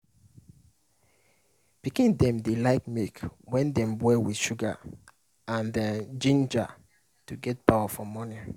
pikin dem dey like milk wey dem boil with sugar and um ginger to get power for morning.